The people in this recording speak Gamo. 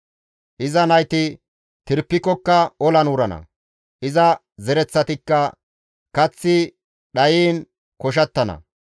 Iza nayti tiripikkoka olan wurana; iza zereththatikka kaththi dhayiin koshattana.